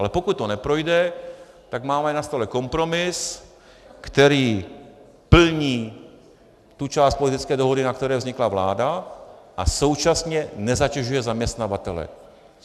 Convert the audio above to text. Ale pokud to neprojde, tak máme na stole kompromis, který plní tu část politické dohody, na které vznikla vláda, a současně nezatěžuje zaměstnavatele.